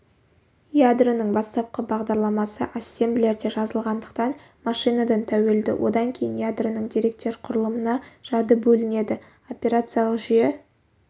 ядроның бастапқы бағдарламасы ассемблерде жазылғандықтан машинадан тәуелді одан кейін ядроның деректер құрылымына жады бөлінеді операциялық жүйе